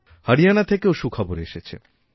হরিয়ানা থেকেওসুখবর এসেছে